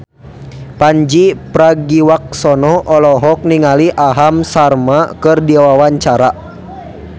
Pandji Pragiwaksono olohok ningali Aham Sharma keur diwawancara